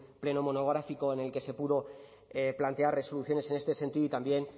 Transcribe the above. pleno monográfico en el que se pudo plantear resoluciones en este sentido y también